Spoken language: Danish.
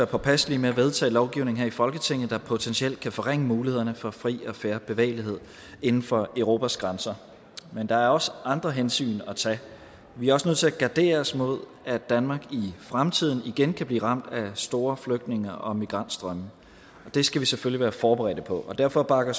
påpasselige med at vedtage lovgivning her i folketinget der potentielt kan forringe mulighederne for fri og fair bevægelighed inden for europas grænser men der er også andre hensyn at tage vi er også nødt til at gardere os mod at danmark i fremtiden igen kan blive ramt af store flygtninge og migrantstrømme og det skal vi selvfølgelig være forberedt på derfor bakker